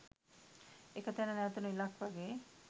එක තැන නැවතුන විලක් වගේ.